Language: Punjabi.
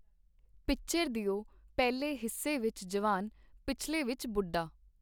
ਪਿਕਚਰ ਦਿਓ ਪਹਿਲੇ ਹਿੱਸੇ ਵਿਚ ਜਵਾਨ, ਪਿਛਲੇ ਵਿਚ ਬੁੱਢਾ.